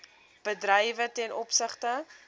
bedrywe ten opsigte